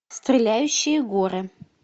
стреляющие горы